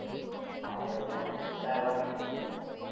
ஆயிரம் ரூபாய் இரண்டாயிரம் ரூபாய் கேட்கிறாங்க